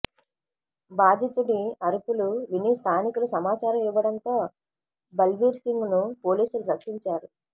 బాధితుడి అరుపులు విని స్థానికులు సమాచారం ఇవ్వడంతో బల్బీర్సింగ్ను పోలీసులు రక్షించారు